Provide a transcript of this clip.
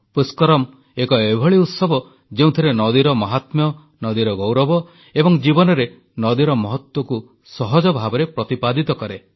ପୁଷ୍କରମ୍ ଏକ ଏଭଳି ଉତ୍ସବ ଯେଉଁଥିରେ ନଦୀର ମହାତ୍ମ୍ୟ ନଦୀର ଗୌରବ ଏବଂ ଜୀବନରେ ନଦୀର ମହତ୍ୱକୁ ସହଜ ଭାବରେ ପ୍ରତିପାଦିତ କରେ